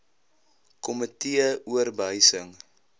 komitee or behuising